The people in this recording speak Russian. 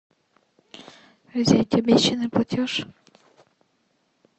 взять обещанный платеж